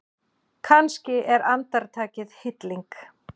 Kannski er andartakið hilling.